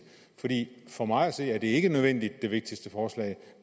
fordi det for mig at se ikke nødvendigvis er det vigtigste forslag